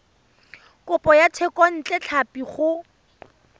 kopo ya thekontle tlhapi go